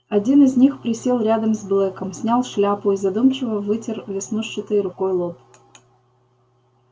один из них присел рядом с блэком снял шляпу и задумчиво вытер веснушчатой рукой лоб